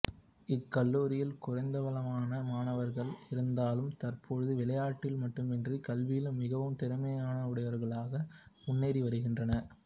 இக் கல்லூரியில் குறைந்தளவான மாணவர்கள் இருந்தாலும் தற்பொழுது விளையாட்டில் மட்டுமன்றி கல்வியிலும் மிகவும் திறமையுடையவர்களாக முன்னேறி வருகின்றார்கள்